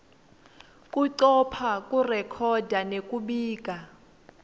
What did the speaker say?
kucopha kurekhoda nekubika